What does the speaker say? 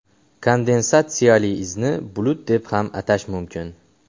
Kondensatsiyali izni bulut deb ham atash mumkin.